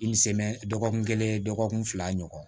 dɔgɔkun kelen dɔgɔkun fila ɲɔgɔn